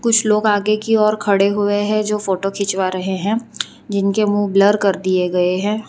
कुछ लोग आगे की ओर खड़े हुए हैं जो फोटो खिंचवा रहे हैं जिनके मुंह ब्लर कर दिए गए हैं।